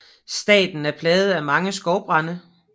Staten er plaget af mange skovbrande